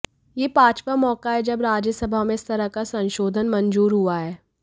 यह पांचवां मौका है जब राज्यसभा में इस तरह का संशोधन मंजूर हुआ है